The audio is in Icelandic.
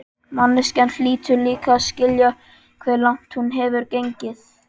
Manneskjan hlýtur líka að skilja hve langt hún hefur gengið.